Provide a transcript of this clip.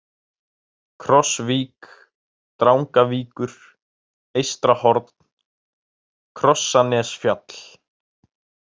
Krossvík, Drangavíkur, Eystrahorn, Krossanesfjall